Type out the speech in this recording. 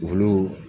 Olu